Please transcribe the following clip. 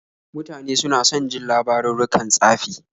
Mutane suna son jin labarurrukan tsafi.